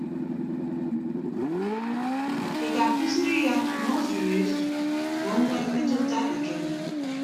Ị ga-akụziri ya na ọ zuru ezu ka o nwee mmetụta ekele?